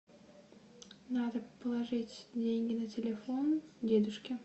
надо положить деньги на телефон дедушке